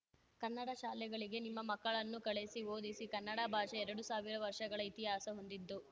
ಕನ್ನಡ ಶಾಲೆಗಳಿಗೆ ನಿಮ್ಮ ಮಕ್ಕಳನ್ನು ಕಳಿಸಿ ಓದಿಸಿ ಕನ್ನಡ ಭಾಷೆ ಎರಡು ಸಾವಿರ ವರ್ಷಗಳ ಇತಿಹಾಸ ಹೊಂದಿದ್ದು